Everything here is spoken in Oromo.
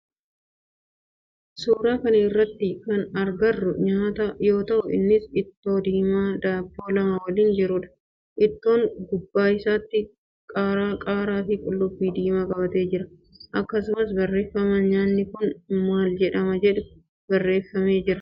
Suuraa kana irratti kana agarru nyaata yoo ta'u innis ittoo diimaa daabboo lama waliin jirudha. Ittoon gubbaa isaatti qaaraa fi qullubbii diimaa qabatee jira. Akkasumas barreefama nyaatni kun maal jedhama jedhu barreffame jira.